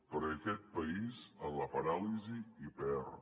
perquè aquest país en la paràlisi hi perd